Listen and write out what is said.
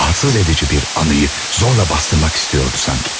Rahatsız edici bir anını zorla basdırmaq istəyirdi sanki.